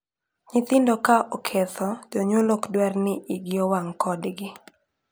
Nyithindo ka oketho, jonyuol ok dwar ni iigi owang' kodgi.